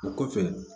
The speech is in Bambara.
O kɔfɛ